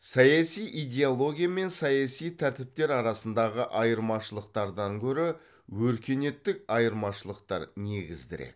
саяси идеология мен саяси тәртіптер арасындағы айырмашылықтардан гөрі өркениеттік айырмашылықтар негіздірек